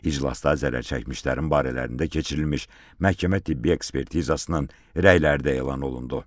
İclasda zərərçəkmişlərin barələrində keçirilmiş məhkəmə-tibbi ekspertizasının rəyləri də elan olundu.